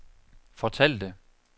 fortalte